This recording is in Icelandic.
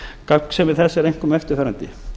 gagnsemi þess er einkum eftirfarandi